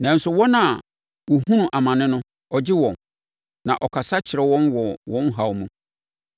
Nanso, wɔn a wɔhunu amane no, ɔgye wɔn; na ɔkasa kyerɛ wɔn wɔ wɔn haw mu.